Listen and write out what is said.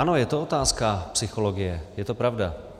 Ano, je to otázka psychologie, je to pravda.